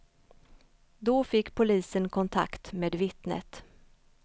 Då fick polisen kontakt med vittnet.